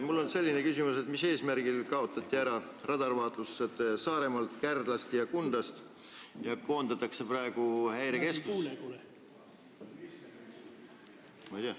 Mul on selline küsimus: mis eesmärgil kaotati ära radarvaatluse kohad Saaremaalt, Kärdlast ja Kundast ning koondatakse praegu kõik Häirekeskusesse?